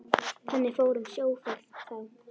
Þannig fór um sjóferð þá.